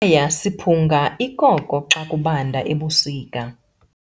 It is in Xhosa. ya siphunga ikoko xa kubanda ebusika.